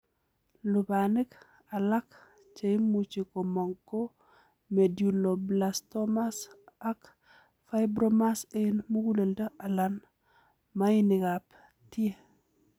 Lubanik alak cheimuch komong' ko medulloblastomas ak fibromas en muguleldo alan maainikab tie.